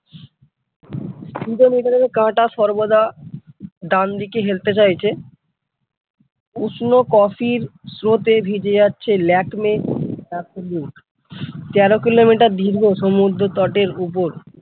Speedometer এর কাটা সর্বদা ডানদিকে হেলতে চাইছে উষ্ণ কফির স্রোতে ভিজে যাচ্ছে তেরো কিলোমিটার দীর্ঘ সমুদ্রতটের উপর ।